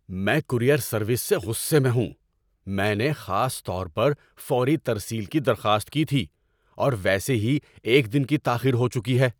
میں courier service سے غصے میں ہوں۔ میں نے خاص طور پر فوری ترسیل کی درخواست کی تھی، اور ویسے ہی ایک دن کی تاخیر ہو چکی ہے!